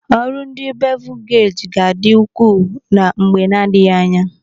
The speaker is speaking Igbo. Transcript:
Ọrụ ndi bevul geji gadi ukwu na mgbe nadighi anya.